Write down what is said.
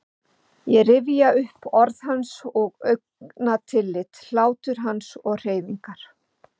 Ég rifjaði upp orð hans og augnatillit, hlátur hans og hreyfingar.